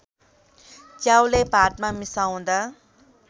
च्याउलाई भातमा मिसाउँदा